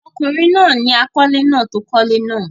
ọkùnrin náà ni àkọ́lé náà tí ó kọ́lé náà.